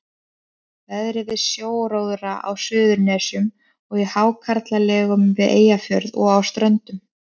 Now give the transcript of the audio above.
Verið við sjóróðra á Suðurnesjum og í hákarlalegum við Eyjafjörð og á Ströndum.